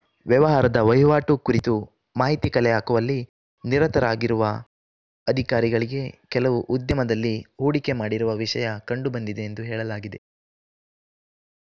ವ್ಯವಹಾರದ ವಹಿವಾಟು ಕುರಿತು ಮಾಹಿತಿ ಕಲೆಹಾಕುವಲ್ಲಿ ನಿರತರಾಗಿರುವ ಅಧಿಕಾರಿಗಳಿಗೆ ಕೆಲವು ಉದ್ಯಮದಲ್ಲಿ ಹೂಡಿಕೆ ಮಾಡಿರುವ ವಿಷಯ ಕಂಡುಬಂದಿದೆ ಎಂದು ಹೇಳಲಾಗಿದೆ